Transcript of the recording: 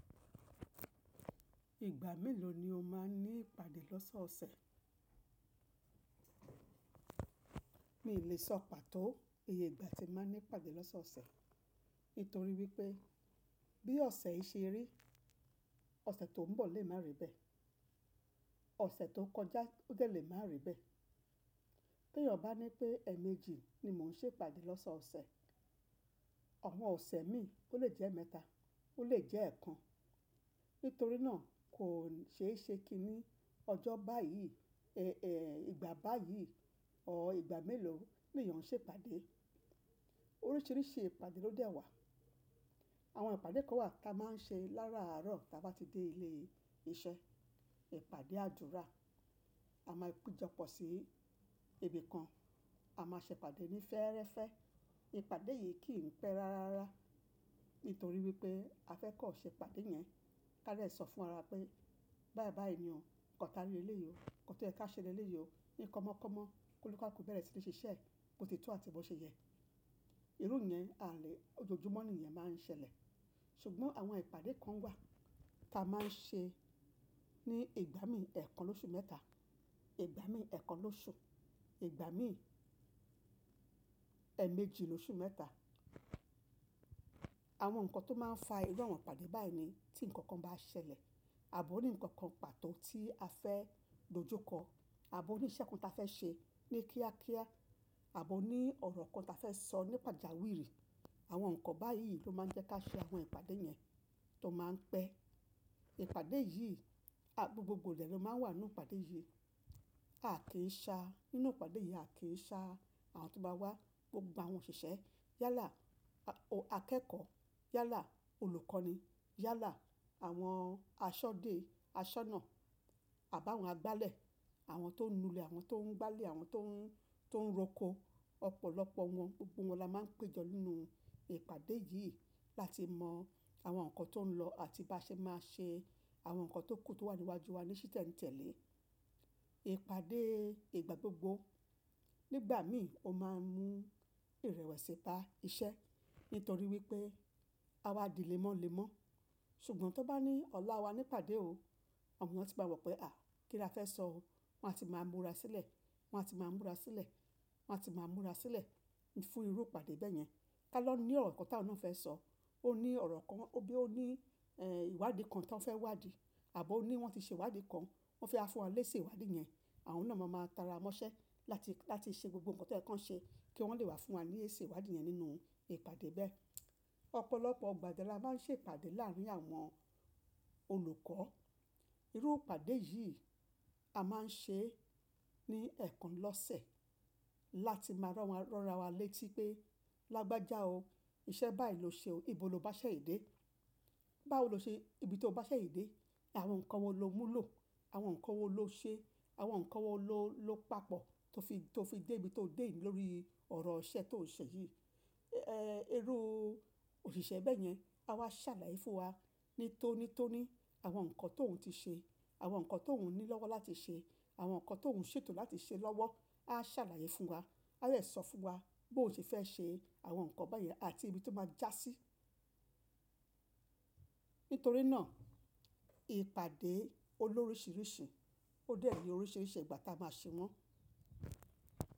Ìgbà mélòó ni o máa ń ní ìpàdé lọ́sọ̀ọ̀sẹ̀? Mi ò lè sọ pàtó iye ìgbà tí màá ń ní ìpàdé lọ́sọ̀ọ̀sẹ̀, nítorí wípé bí ọ̀sẹ̀ yìí ṣe rí, ọ̀sẹ̀ tó ń bọ̀ lè má rí bẹ́ẹ̀, ọ̀sẹ̀ tó kọjá ó gẹ̀ lè má rí bẹ́ẹ̀. Bí èèyàn bá ní pé ẹ̀ẹ̀mejì ni mò ń ṣe ìpàdé lọ́sọ̀ọ̀sẹ̀, àwọn ọ̀sẹ̀ mi ó lè jẹ́ mẹ́ta, ó lè jẹ́ ẹẹ́kan. Nítorí náà kò ṣeéṣe kí ní ọjọ́ báyìí, èè ìgbà báyìí or ìgbà mélòó ni èèyàn ń ṣe ìpàdé. Oríṣìíríṣìí ìpàdé ló dẹ wà. Àwọn ìpàdé kan wà ta máa ń ṣe láràárọ̀ tí a bá ti dé ilé iṣẹ́, ìpàdé àdúrà, a máa pejọ pọ̀ sí ibi kan, a máa ṣe ìpàdé ní fẹ́ẹ́rẹ́fẹ́. Ìpàdé yìí kì í pẹ́ rárára, nítorí wípé a fẹ́ kọ́ ṣe ìpàdé yẹn. A lè sọ fún wa pé báyii bàyií ni o, kọ̀ ta rí lé le yìí o, nkan to ẹ ká ṣe léleyìí o, ni kọ́mọkọ́mọ, koni kaluuku bẹ̀rẹ̀ sí ní ṣiṣẹ́, bo ti tọ àti bó ṣe yẹ. Irú ìyẹn a lè ójójúmọ́ ni iyẹn máa ń ṣẹlẹ̀. Ṣùgbọ́n àwọn ìpàdé kan wà ta máa ń ṣe ní ìgbà mí ì ẹẹ́kan lóṣù mẹ́ta, ìgbà mí ì ẹẹ́kan lóṣù, ìgbà mí ì ẹ̀ẹ̀mejì lóṣù mẹ́ta. Àwọn nǹkan tó máa ń fa irú àwọn ìpàdé báyìí ni tí nǹkan kan bá ṣẹlẹ̀ ààbo ní nǹkan kan pàtó tí a fẹ́ lòjúkọ ààbọ̀ ní ìṣe kan ta fẹ́ ṣe ní kíákíá ààbọ̀ ní ọ̀rọ̀ kan ta fẹ́ sọ nípa jàwiri. Àwọn nǹkan báyìí ló máa ń jẹ́ kí a ṣe àwọn ìpàdé yẹn tó máa ń pẹ́. Ìpàdé yìí, a gbogbo dẹ̀ ló máa ń wà nínú ìpàdé yìí. A kì í sa nínú ìpàdé yìí, a kì í ṣa àwọn tó bá wá gbogbo àwọn òṣìṣẹ́ yálà, a akẹ́kọ̀ọ́ yálà, olùkọ́ni yálà, àwọn aṣọ́dẹ, aṣọ́nà àbá àwọn agbálẹ̀, àwọn tó ń nu ilẹ̀, àwọn tó ń gbálẹ̀, àwọn tó ń tó ń roko, ọ̀pọ̀lọpọ̀ wọ́n gbogbo wọn la máa ń péjọ nínú ìpàdé yìí láti mọ àwọn nǹkan tó ń lọ àti bá ṣe máa ṣe àwọn nǹkan tó kù tó wà níwájú wa ní sí tẹ́ni tẹ́lẹ̀. Ìpàdé ìgbà gbogbo nígbà mí ò máa ń mú ìrẹ̀wẹ̀sì ba iṣẹ́, nítorí wípé á wá dì le mọ́ le mọ́. Ṣùgbọ́n tó bá ní ọ̀la wa ní ìpàdé o, àwọn èèyàn tí bá mọ̀ pé à kí la fẹ́ sọ o, wọ́n á ti máa múra sílẹ̀, wọ́n á ti máa múra sílẹ̀, wọ́n á ti máa múra sílẹ̀ fún irú ìpàdé bẹ́ẹ̀ yẹn. Táa lọ ní ọ̀rọ̀ kan táa ló ń fẹ́ sọ, ó ní ọ̀rọ̀ kan, ó bí ó ní èè ìwádìí kan táa ń fẹ́ wádìí ààbọ̀ ó ní wọ́n ti ṣe ìwádìí kan, wọ́n fi ha fún wa lé ṣe ìwádìí yẹn. Àwọn náà máa máa tara mọ́ṣẹ́ láti láti ṣe gbogbo nǹkan to yẹ̀ kan ṣe kí wọ́n lè wá fún wa lé ṣe ìwádìí yẹn nínú ìpàdé bẹ́ẹ̀. Ọ̀pọ̀lọpọ̀ igbà dẹ là ma ń ṣe ìpàdé láàárín àwọn olùkọ́. Irú ìpàdé yìí a máa ń ṣe ní ẹ̀ẹ̀kan lọ́sẹ̀ láti máa ran ra wa létí pé lágbájá o iṣẹ́ báyìí ló ṣe o, ibo lo bá ṣe yí dé? Báwo lo ṣe ibi tó bá ṣe èyí dé? Àwọn nǹkan wo lo mú lọ? Àwọn nǹkan wo lo ṣe? Àwọn nǹkan wo ló ló papọ̀ tó fi tó fi dé ibi tó dé yi lórí ọ̀rọ̀ iṣẹ́ tó n ṣe yìí. Ẹ irú òṣìṣẹ́ bẹ́ẹ̀ yẹn á wá ṣàlàyé fún wa ní tónítóní àwọn nǹkan tóun ti ṣe, àwọn nǹkan tóun ní lọ́wọ́ láti ṣe, àwọn nǹkan tóun ṣètò láti ṣe lọ́wọ́ a ṣàlàyé fún wa. A lè sọ fún wa bó ṣe fẹ́ ṣe àwọn nǹkan báyìí àti ibi tó máa já sí. Nítorí náà ìpàdé ó lóríṣìíríṣìí, ó dẹ ni oríṣìíríṣìí ìgbà tí a máa ṣe wọ́n.